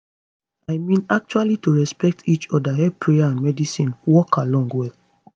i mean actually to respect each oda help prayer and medicine work along well